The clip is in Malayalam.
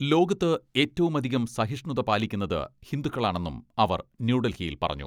ലോകത്ത് ഏറ്റവും അധികം സഹിഷ്ണുത പാലിക്കുന്നത് ഹിന്ദുക്കളാണെന്നും അവർ ന്യൂഡൽഹിയിൽ പറഞ്ഞു.